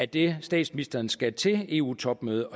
det statsministeren skal til eu topmøde